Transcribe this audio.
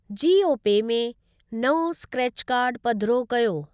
जीओपे में नओं scratch card पधिरो कयो।